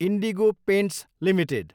indigo Paints Ltd